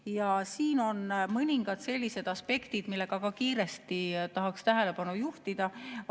Ja siin on mõningad aspektid, millele tahaksin kiiresti tähelepanu juhtida.